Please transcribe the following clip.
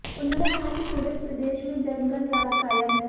उन्होंने कहा कि पूरे प्रदेश में जंगलराज कायम है